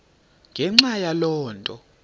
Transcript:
ngenxa yaloo nto